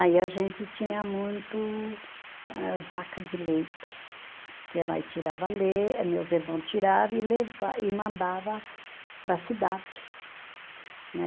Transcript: Aí a gente tinha muito eh vaca de leite, que ia lá e tirava le, eh meus irmãos tirava e leva, e mandava para a cidade, né.